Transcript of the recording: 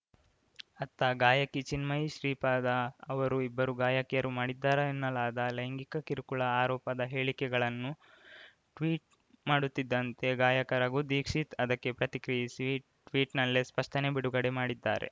ಅತ್ತ ಗಾಯಕಿ ಚಿನ್ಮಯಿ ಶ್ರೀಪಾದ ಅವರು ಇಬ್ಬರು ಗಾಯಕಿಯರು ಮಾಡಿದ್ದಾರೆನ್ನಲಾದ ಲೈಂಗಿಕ ಕಿರುಕುಳ ಆರೋಪದ ಹೇಳಿಕೆಗಳನ್ನು ಟ್ವೀಟ್‌ ಮಾಡುತ್ತಿದ್ದಂತೆ ಗಾಯಕ ರಘು ದೀಕ್ಷಿತ್‌ ಅದಕ್ಕೆ ಪ್ರತಿಕ್ರಿಯಿಸಿ ಟ್ವೀಟ್ ನಲ್ಲೇ ಸ್ಪಷ್ಟನೆ ಬಿಡುಗಡೆ ಮಾಡಿದ್ದಾರೆ